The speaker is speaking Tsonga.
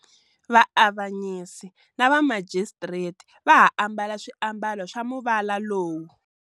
Vaavanyisi na va Majistreti va ha ambala swiambalo swa muvala lowu.